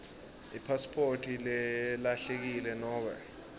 ipasiphoti lelahlekile nobe